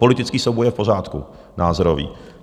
Politický souboj je v pořádku, názorový.